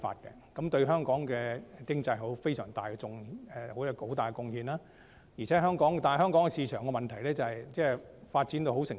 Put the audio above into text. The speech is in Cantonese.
保險業對香港的經濟有非常重大的貢獻，但香港市場的問題是發展已非常成熟。